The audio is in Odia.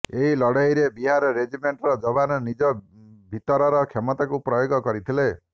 ଏହି ଲଢେଇରେ ବିହାର ରେଜିମେଣ୍ଟର ଯବାନ ନିଜ ଭିତରର କ୍ଷମତାକୁ ପ୍ରୟୋଗ କରିଥିଲେ